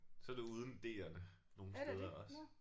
Så er det uden D'erne nogle steder også